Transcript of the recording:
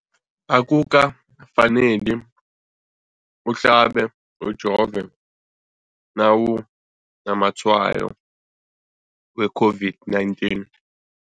Akuka faneli uhlabe, ujove nawu namatshayo we-COVID-19.